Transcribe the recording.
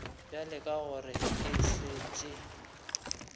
bjale ka gore e šetše